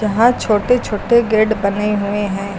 यहां छोटे छोटे गेड बने हुए हैं।